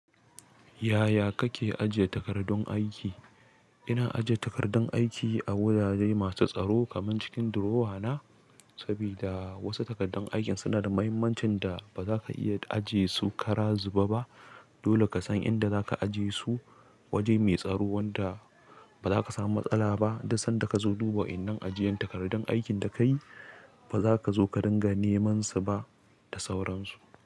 Yaya kake ajiye takardun aiki? Ina ajiye takardun aiki a wurare masu tsaro kamar cikin drawer na, sabida wasu takardun aikin suna da mahimmancin da ba za ka iya ajiye su ƙara zuba ba. Dole ka san inda za ka ajiye su, waje mai tsaro wanda ba za ka samu matsala ba duk sanda ka zo duba. In an ajiye takardun aikin da kayi, ba za ka zo ka dinga neman su ba da sauransu.